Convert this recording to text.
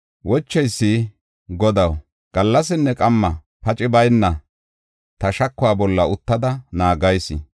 Wocheysi, “Godaw, gallasinne qamma paci bayna ta shakuwa bolla uttada naagayis.